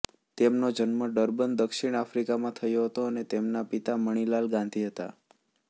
તેમનો જન્મ ડરબન દક્ષિણ આફ્રિકામાં થયો હતો અને તેમના પિતા મણીલાલ ગાંધી હતા